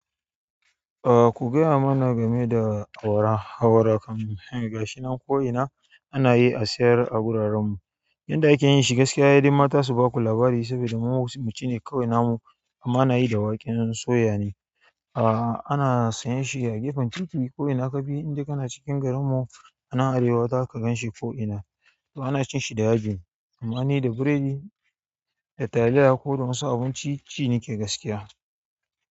Eh, ku gaya mana game da awara. Awara kam ga shi nan ko ina ana yi a sayar a wuraren mu. Yanda ake yin shi gaskiya, ye dai mata su baku labari saboda mu muci ne kawai nam. Amma ana yi da waken soya ne. Uhm, ana sayan shi a gefen titi ko ina ka bi inda kana cikin garin ma anan Arewa zaka ganshi ko ina. To ana cin shi da yaji amma ni da biredi da taliya ko da wasu abinci shine ke gaskiya.